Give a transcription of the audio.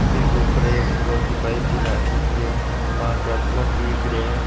बीके ऊपर एक लौह की पाइप सी लाग रखी है पांच चार प्लग दिख रहिया है।